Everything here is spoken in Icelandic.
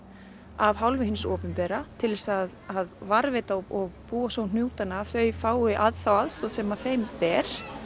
af hálfu hins opinbera til þess að varðveita og búa svo um hnútana þau fái þá aðstoð sem þeim ber